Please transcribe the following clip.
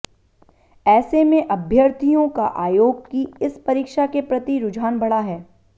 ऐसे में अभ्यर्थियों का आयोग की इस परीक्षा के प्रति रुझान बढ़ा है